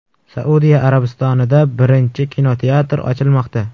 Saudiya Arabistonida birinchi kinoteatr ochilmoqda.